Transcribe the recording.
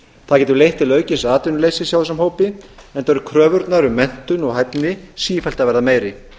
það getur leitt til aukins atvinnuleysis hjá þessum hópi enda eru kröfurnar um menntun og hæfni sífellt að verða meiri